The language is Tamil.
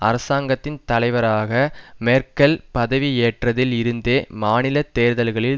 அரசாங்கத்தின் தலைவராக மேர்க்கெல் பதவி ஏற்றதில் இருந்தே மாநில தேர்தல்களில்